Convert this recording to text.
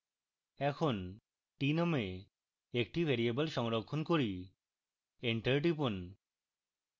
এখন t নামে একটি ভ্যারিয়েবল সংরক্ষণ করি enter টিপুন